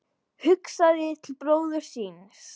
Hugsaði til bróður síns.